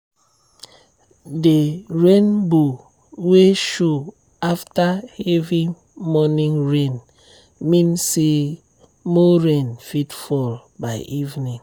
the rainbow wey show after heavy morning rain mean say more rain fit fall by evening.